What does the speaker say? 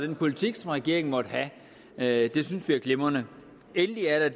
den politik som regeringen måtte have det synes vi er glimrende endelig er der